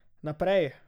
Naprej!